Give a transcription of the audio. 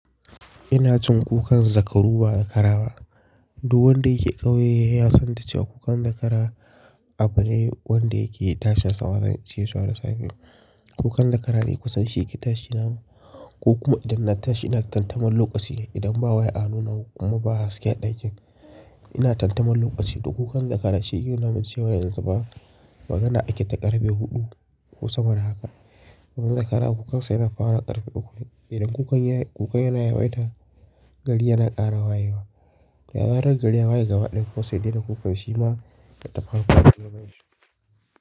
Ina jin kukan zakaru ba dakara ba. Duk wanda yake ƙauye ya san da cewa kukan zakara abu ne wanda yake tashin sa yawanci zuwa da safe. Kukan zakara ne kusan sheki tashi na ko kuma idan na tashi ina tamtamar lokaci. Idan ba waya a hannu na ko kuma ba haske ɗakin ina tantanin lokaci. To kukan zakara shi yake nuna muncewa yanzu fa magana ake ta ƙarfe huɗu ko sama da haka. Domin zakara kukan sai yana farawa ƙarfe huɗu ne. Idan kukan yana kukan yana yawaita, gari yana ƙara wayewa. Da zarar gari ya waye gaba ɗaya kuma sai ya dai na kukan shi ma ya tafi harkokin gabanshi.